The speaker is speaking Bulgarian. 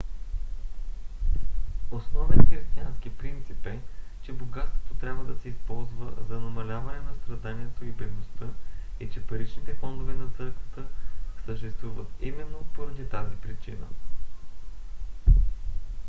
основен християнски принцип е че богатството трябва да се използва за намаляване на страданието и бедността и че паричните фондове на църквата съществуват именно поради тази причина